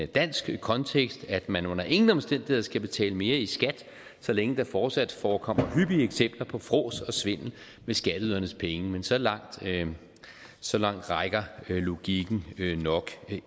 dansk kontekst nemlig at man under ingen omstændigheder skal betale mere i skat så længe der fortsat forekommer hyppige eksempler på frås og svindel med skatteydernes penge men så langt så langt rækker logikken nok